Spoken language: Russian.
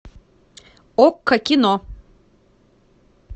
окко кино